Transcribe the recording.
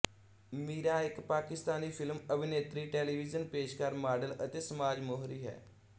ਮੀਰਾ ਇੱਕ ਪਾਕਿਸਤਾਨੀ ਫ਼ਿਲਮ ਅਭਿਨੇਤਰੀ ਟੈਲੀਵਿਜ਼ਨ ਪੇਸ਼ਕਾਰ ਮਾਡਲ ਅਤੇ ਸਮਾਜ ਮੋਹਰੀ ਹੈ